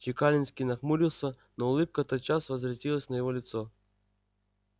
чекалинский нахмурился но улыбка тотчас возвратилась на его лицо